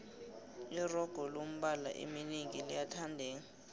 iroga lombala eminengi liyathandeka